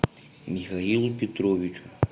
михаилу петровичу